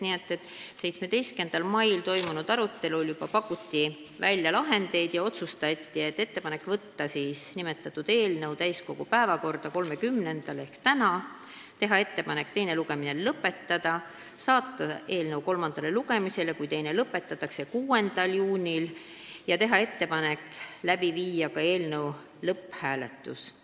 Nii et 17. mail toimunud arutelul juba pakuti välja lahendeid ja otsustati teha ettepanek võtta nimetatud eelnõu täiskogu päevakorda 30. maiks ehk tänaseks, teha ettepanek teine lugemine lõpetada, saata eelnõu kolmandale lugemisele, kui teine lõpetatakse, 6. juuniks ning teha ettepanek läbi viia ka eelnõu lõpphääletus.